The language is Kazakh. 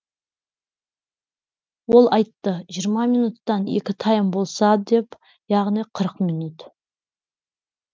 ол айтты жиырма минуттан екі тайм болса деп яғни қырық минут